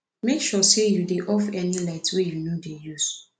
mek sure say you dey off any light wey you no dey use